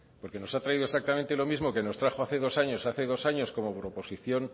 porque nos ha traído exactamente lo mismo que nos trajo hace dos años como proposición